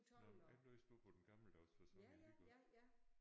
Nåh jeg læste nu på den gammeldags facon alligevel